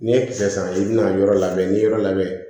N'i ye kisɛ san i bɛna yɔrɔ labɛn n'i ye yɔrɔ labɛn